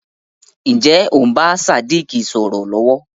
Ǹjẹ́ o ń bá Sádíkù sọ̀rọ̀ lọ̀wọ̀?